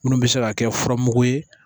Minnu bɛ se ka kɛ furamugu ye